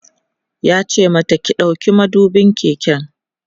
yace mata "ki ɗauki madubin keken!"